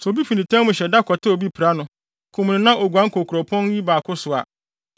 Sɛ obi fi nitan mu hyɛ da kɔtɛw obi pira no, kum no na oguan kɔ nkuropɔn yi mu baako so a,